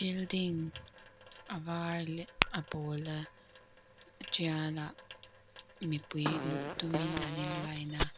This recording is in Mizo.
building a var leh a pawla tial ah mipui luh tumin an in line a--